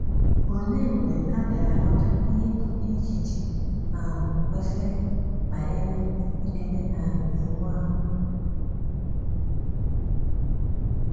Olee mgbe a bịara ghọta ihe bụ́ echiche um kwesịrị banyere idebe um Iwu ahụ?